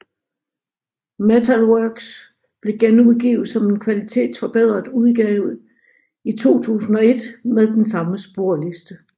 Metal Works blev genudgivet som en kvalitetsforbedret udgave i 2001 med den samme sporliste